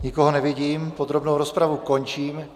Nikoho nevidím, podrobnou rozpravu končím.